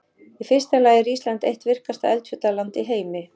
Í fyrsta lagi er Ísland eitt virkasta eldfjallaland í heimi.